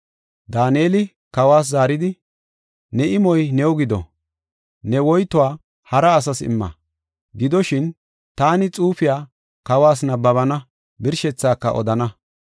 Daaneli kawas zaaridi, “Ne imoy new gido; ne woytuwa hara asas imma. Gidoshin, taani xuufiya kawas nabbabana; birshethaaka odana.”